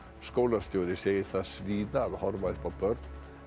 skólastjóri segir það svíða að horfa upp á börn